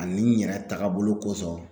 Ani n yɛrɛ tagabolo kosɔn